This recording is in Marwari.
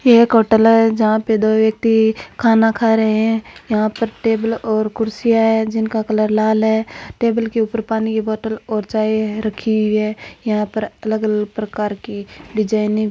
यह एक होटल है जहां पर दो व्यक्ति खाना खा रहे हैं यहां पर टेबल और कुर्सियां हैं जिनका कलर लाल है टेबल के ऊपर पानी की बोतल और चाय रखी हुई है यहां पर अलग-अलग प्रकार की डिजाइने --